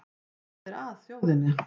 Hvað er að þjóðinni